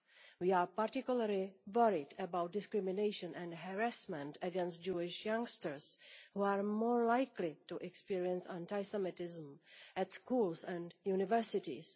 We are particularly worried about discrimination and harassment against Jewish youngsters, who are more likely to experience anti Semitism in schools and universities.